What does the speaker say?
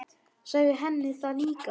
Sagði henni það líka.